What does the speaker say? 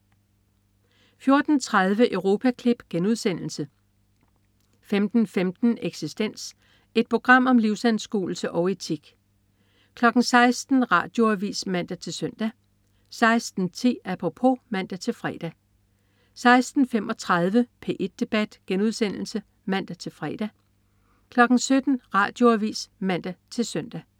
14.30 Europaklip* 15.15 Eksistens. Et program om livsanskuelse og etik 16.00 Radioavis (man-søn) 16.10 Apropos (man-fre) 16.35 P1 debat* (man-fre) 17.00 Radioavis (man-søn)